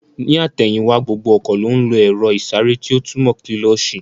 Ní àtẹ̀yìn wá, gbogbo ọkọ̀ ló ń lo èro ìsáré tí ó túmò kílósī